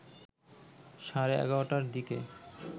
সাড়ে ১১টার দিকে